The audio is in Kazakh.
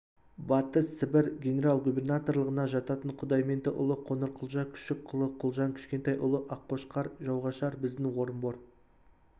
батыс сібір генерал-губернаторлығына жататын құдайменді ұлы қоңырқұлжа күшік ұлы құлжан кішкентай ұлы аққошқар жауғашар біздің орынбор